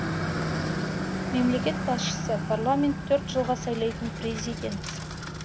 мемлекет басшысы парламент төрт жылға сайлайтын президент